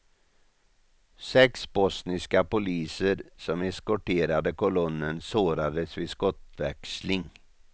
Sex bosniska poliser som eskorterade kolonnen sårades vid skottväxling.